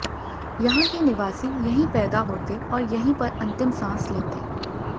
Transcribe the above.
यहां के निवासी यहीं पैदा होते और यहीं पर अंतिम सांस लेते